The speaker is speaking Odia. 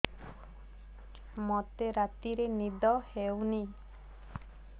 ମୋତେ ରାତିରେ ନିଦ ହେଉନି